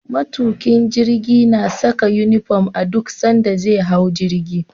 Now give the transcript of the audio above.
Matukin jirgi na Saka inufom a duk sanda ze hau jirgi